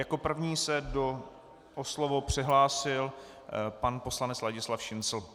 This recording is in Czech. Jako první se o slovo přihlásil pan poslanec Ladislav Šincl.